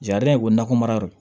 ye ko nakɔ mara yɔrɔ